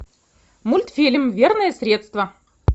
мультфильм верное средство